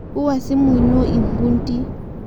Uwa simuino lmpundi